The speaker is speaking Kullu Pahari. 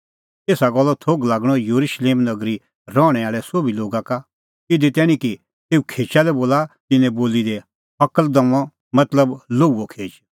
एसा गल्लो थोघ लागअ येरुशलेम नगरी रहणैं आल़ै सोभी लोगा का इधी तैणीं कि तेऊ खेचा लै बोला तिन्नें बोली दी हकल़दमअ मतलब लोहूओ खेच